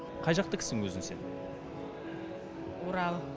қай жақтыкісің өзің сен орал